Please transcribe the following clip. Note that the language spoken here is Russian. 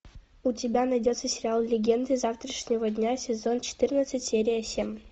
у тебя найдется сериал легенды завтрашнего дня сезон четырнадцать серия семь